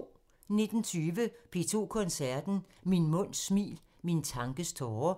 19:20: P2 Koncerten – Min munds smil – min tankes tåre